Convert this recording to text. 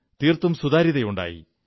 തീർത്തും സുതാര്യത ഉണ്ടായി